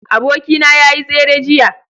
abokina ya yi tsere jiya